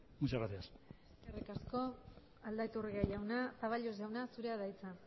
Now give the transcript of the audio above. muchas gracias eskerrik asko aldaiturriaga jauna zaballos jauna zurea da hitza